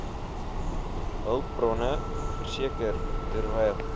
hulpbronne verseker terwyl